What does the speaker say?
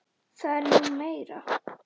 Það er nú meira.